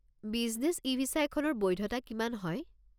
Business e visa এখনৰ বৈধতা কিমান হয়?